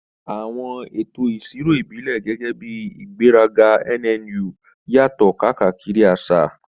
Àwọn ètò ìṣirò ìbílẹ̀, gẹ́gẹ́ bí ìgbéraga nnu, yàtọ̀ káàkiri àṣà.